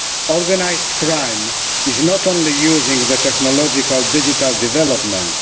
Organised crime not only uses technological digital developments